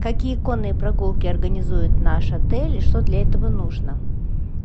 какие конные прогулки организует наш отель и что для этого нужно